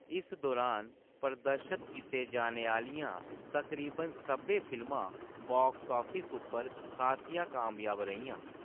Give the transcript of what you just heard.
इस दुरान प्रदर्शत कीते जाने आह्‌‌‌लियां तकरीबन सब्भै फिल्मां बाक्स आफिस उप्पर खासियां कामयाब रेहियां।